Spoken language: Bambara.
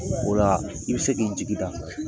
Ola i bɛ se k'i jigida kan.